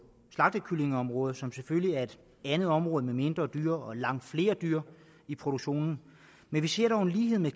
slagtekyllingeområdet som selvfølgelig er et andet område med mindre dyr og langt flere dyr i produktionen men vi ser dog en lighed med